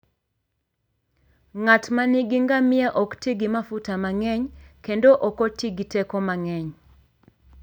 Ng'at ma nigi ngamia ok ti gi mafuta mang'eny, kendo ok oti gi teko mang'eny.